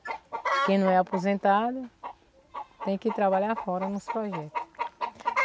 Quem não é aposentado tem que trabalhar fora nos projeto.